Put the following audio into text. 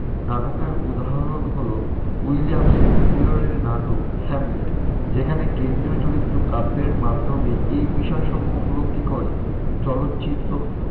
নাটকের উদাহরণ হ'ল উইলিয়াম শেক্সপিয়ারের নাটক হ্যামলেট, যেখানে কেন্দ্রীয় চরিত্র কাব্যের মাধ্যমে এই বিষয় সমূহ উপলব্ধি করে। চলচ্চিত্র,